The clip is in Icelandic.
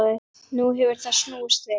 Nú hefur það snúist við.